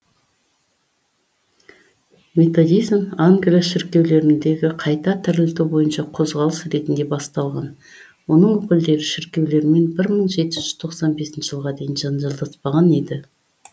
методизм англия шіркеулеріндегі қайта тірілту бойынша қозғалыс ретінде басталған оның өкілдері шіркеулермен мың жеті жүз тоқсан бесінші жылға дейін жанжалдаспаған еді